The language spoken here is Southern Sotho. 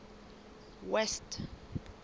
west